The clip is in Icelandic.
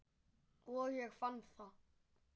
Og ég fann það.